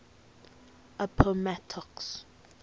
appomattox